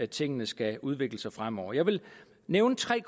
tingene skal udvikle sig fremover jeg vil nævne tre